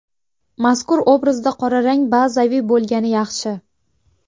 Mazkur obrazda qora rang bazaviy bo‘lgani yaxshi.